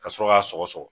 Ka sɔrɔ ka sɔgɔsɔgɔ